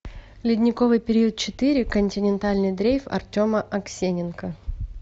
ледниковый период четыре континентальный дрейф артема аксененко